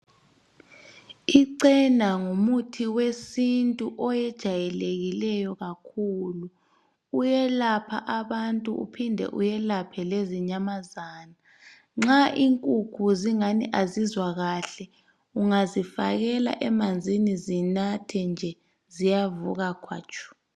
ichena ngumuthi wesintu owejayelekileyo kakhulu uyelapha abantu uphinde welaphe lezinyamazana nxa inkukhu zingani azizwa kahle ungazifakela emanzini zinathe ziyavuka khwatshu